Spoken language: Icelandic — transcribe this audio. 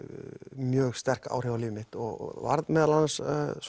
mjög sterk áhrif á líf mitt og varð meðal annars